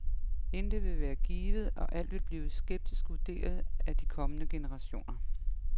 Intet vil være givet, og alt vil blive skeptisk vurderet af de kommende generationer.